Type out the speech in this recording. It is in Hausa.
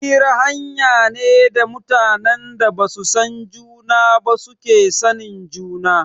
Hira hanya ne da mutanen da basu san juna ba suke sanin juna